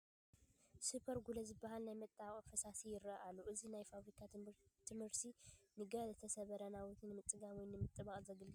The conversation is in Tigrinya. Super Glue ዝበሃል ናይ መጣበቒ ፈሳሲ ይርአ ኣሎ፡፡ እዚ ናይ ፋብሪካ ምህርቲ ንገለ ዝተሰበሩ ናውቲ ንምፅጋን ወይ ንምጥባቅ ዘገልግል ዓይነት እዩ፡፡